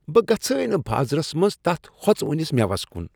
بہٕ گژھے نہٕ بازرس منٛز تتھ ہۄژوٕنس مٮ۪وس کٖٗن ۔